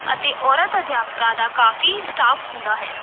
ਅਤੇ ਔਰਤ ਅਧਿਆਪਕਾਂ ਦਾ ਕਾਫੀ staff ਹੁੰਦਾ ਹੈ।